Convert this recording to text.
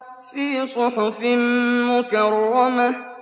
فِي صُحُفٍ مُّكَرَّمَةٍ